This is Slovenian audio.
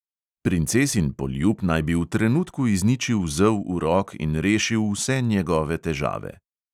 Princesin poljub naj bi v trenutku izničil zel urok in rešil vse njegove težave.